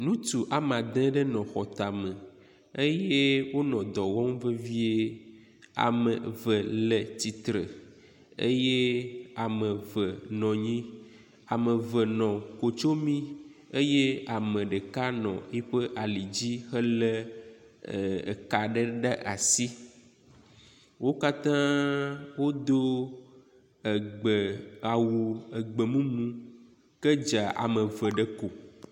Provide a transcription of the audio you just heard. Ŋutsu ame adre ɖe nɔ xɔ tame eye wonɔ dɔ wɔm vevie. Ame eve le tsitre eye ame eve nɔ anyi. Ame eve nɔ kotsomi eye ame ɖeka nɔ yiƒe ali dzi hele eka aɖe ɖe asi. Wo katã wodo egbe awu egbemumu ked za ame eve ɖe ko.